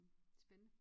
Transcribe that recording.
Spændende